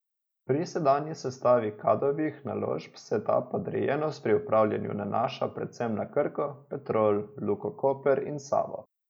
Pri sedanji sestavi Kadovih naložb se ta podrejenost pri upravljanju nanaša predvsem na Krko, Petrol, Luko Koper in Savo.